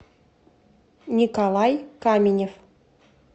николай каменев